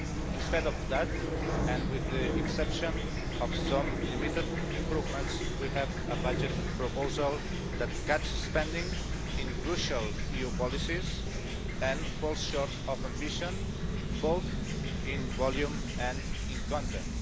Instead of that, and with the exception of some limited improvements, we have a budget proposal that cuts spending in crucial EU policies and falls short of ambition both in volume and in content.